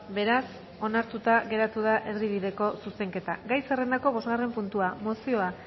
beraz onartuta geratu da erdibideko zuzenketa gai zerrendako bosgarren puntua mozioa